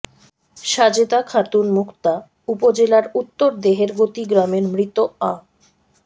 সাজেদা খাতুন মুক্তা উপজেলার উত্তর দেহেরগতি গ্রামের মৃত আ